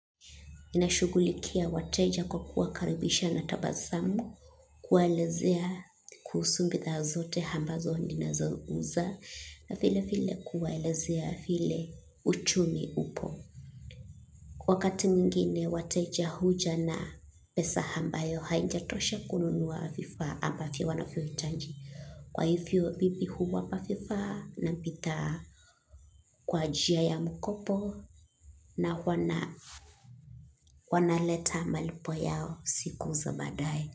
Ninashugulikia wateja kwa kuakarubisha na tabazamu, kuwalezea kuhusumbitha zote hambazo ni na zouza na file file kuwalezea file uchumi upo. Wakati mingine wateja huja na pesa hambayo haijatosha kununuwa hafifa hapafiwo wana fiwa itaji. Kwa hivyo mimi huwapa vifaa na bidhaa, kwa njia ya mkopo na wanaleta malipo yao siku za baadaye.